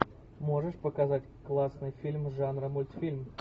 можешь показать классный фильм жанра мультфильм